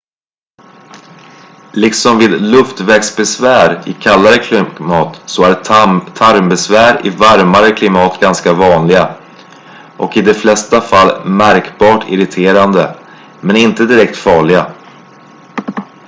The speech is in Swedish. liksom vid luftvägsbesvär i kallare klimat så är tarmbesvär i varmare klimat ganska vanliga och i de flesta fall märkbart irriterande men inte direkt farliga